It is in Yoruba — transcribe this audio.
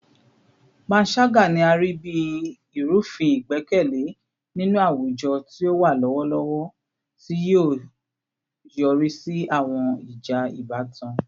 Panṣaga ni a rii bi irufin igbẹkẹle ninu awujọ ti o wa lọwọlọwọ, ti o yori si awọn ija ibatan